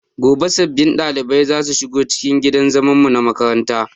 Gobe sabbin ɗaliban zasu shigo cikin gidan zaman mu na makaranta